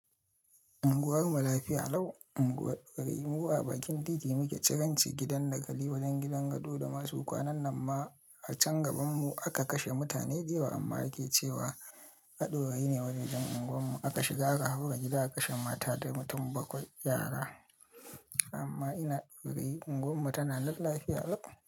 Anguwar mu lafiya lau. Unguwar ƙwarai mu a bakin titi muke, ciranci gidan dakali wajen gidan gado da masu kwanan nan ma a can gaban mu aka kashe mutane dayawa amma ake cewa ta ɗaurayi ne waje jan unguwar mu aka shiga aka haura gida aka kashe mata da mutum bakwai yara. Amma ina Daurayi ungwar mu tana nan lafiya lau.